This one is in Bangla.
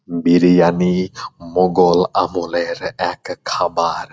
বিরিয়ানি মোগল আমলের এক খাবার।